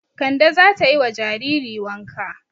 Kande za ta yi wa jariri wanka.